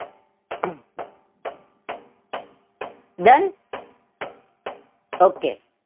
Done okay.